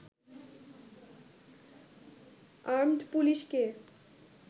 armed পুলিশকে